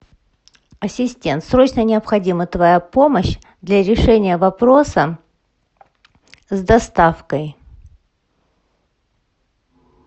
ассистент срочно необходима твоя помощь для решения вопроса с доставкой